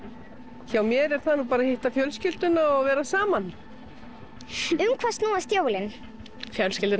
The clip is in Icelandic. hjá mér er það að hitta fjölskylduna og vera saman um hvað snúast jólin fjölskylduna